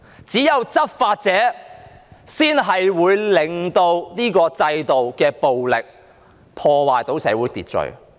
只有執法者才可以用制度暴力破壞社會秩序。